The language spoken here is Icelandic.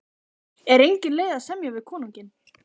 Er engin leið að semja við konunginn?